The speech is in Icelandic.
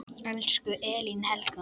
Elsku Elín Helga.